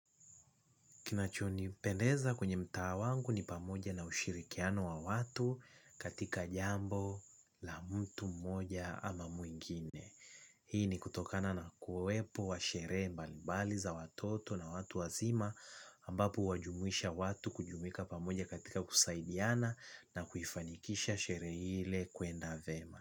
Kinachonipendeza kwenye mtaa wangu ni pamoja na ushirikiano wa watu katika jambo la mtu mmoja ama mwingine. Hii ni kutokana na kuwepo wa sherehe mbalibali za watoto na watu wazima ambapo huwajumuisha watu kujumuika pamoja katika kusaidiana na kuifanikisha sherehe ile kwenda vyema.